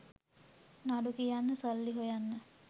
නඩු කියන්න සල්ලි හොයන්න